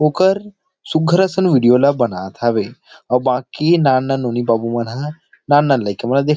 ओकर सुग्घर असन वीडियो ल बनात हवे अउ बाकी नान नान नोनी बाबू मन ह नान नान लइका मन ला देख--